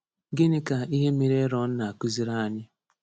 Gịnị ka ihe mere Erọn na-akụziri anyị?